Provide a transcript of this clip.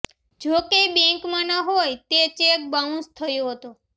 જો કે બેંકમાંના હોઈ તે ચેક બાઉન્સ થયો હતો